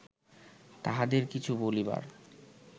তাঁহাদের কিছু বলিবার